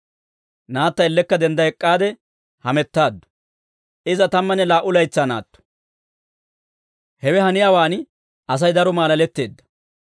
Naatta ellekka dendda ek'k'aade hamettaaddu; iza tammanne laa"u laytsaa naatto; hewe haniyaawaan Asay daro maalaletteedda.